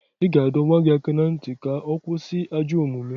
Ị ga-adọ nwa gị aka na ntị ka ọ kwụsị ajọ omume